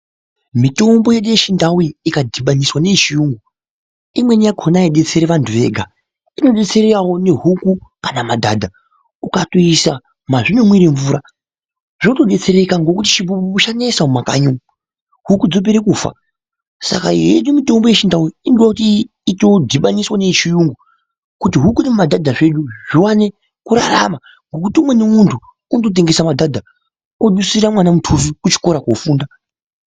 Mitombo yedu yechindau iyi ikadhibaniswa neyechiyungu ,imweni yakona aidetseri vantu vega ,inodetserawo nehuku kana madhadha. Ukatoisa mwazvinomwire mvura ,zvotodetsereka ngekuti chibhubhubhu chanesa mumakanyi umwu, huku dzopere kufa .Saka yedu mitombo yechintau inoda kuti itodhibaniswa neyechiyungu kuti huku nemadhadha zvedu zviwane kurarama ngekuti umweni muntu unototengese madhadha kuti udusira mwana mutuso kuchikora kofunda.